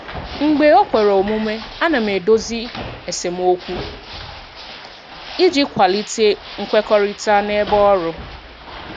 Mgbe o kwere omume, ana m edozi esemokwu iji kwalite nkwekọrịta n'ebe ọrụ.